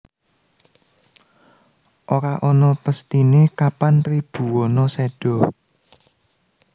Ora ana pesthine kapan Tribhuwana seda